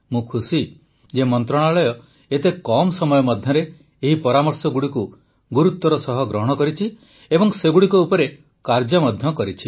ମୁଁ ଖୁସି ଯେ ମନ୍ତ୍ରଣାଳୟ ଏତେ କମ ସମୟ ମଧ୍ୟରେ ଏହି ପରାମର୍ଶଗୁଡ଼ିକୁ ଗୁରୁତ୍ୱ ସହ ଗ୍ରହଣ କରିଛି ଏବଂ ସେଗୁଡ଼ିକ ଉପରେ କାର୍ଯ୍ୟ ମଧ୍ୟ କରିଛି